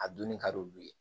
A dunni ka d'olu ye